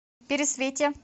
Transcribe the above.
пересвете